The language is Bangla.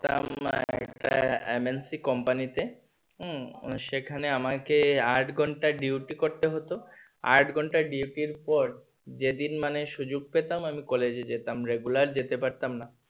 MNC কোম্পানিতে উম সেখানে আমাকে আট ঘন্টা duty করতে হতো আট ঘন্টা duty এর পর যেদিন মানে সুযোগ পেতাম আমি কলেজে যেতাম regular যেতে পারতাম না।